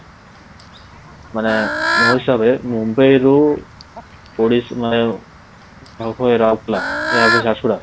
ମାନେ ମୋ ହିସାବରେ ମୁମ୍ବାଇରୁ ରାଉରକେଲା ଝାରସୁଗୁଡ଼ା